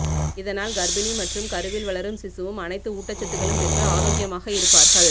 இதனால் கர்ப்பிணி மற்றும் கருவில் வளரும் சிசுவும் அனைத்து ஊட்டச்சத்துக்களும் பெற்று ஆரோக்கியமாக இருப்பார்கள்